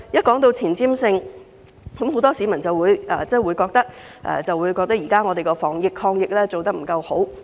談到前瞻性，很多市民認為香港現時的防疫抗疫工作做得不夠好。